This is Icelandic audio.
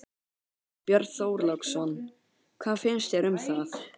Björn Þorláksson: Hvað finnst þér um það?